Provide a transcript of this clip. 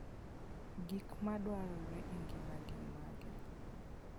Gik madwarore e ngima gin mage?